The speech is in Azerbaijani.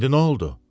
İndi nə oldu?